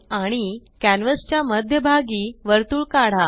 आणि कॅन्वस च्या मध्यभागी वर्तुळ काढा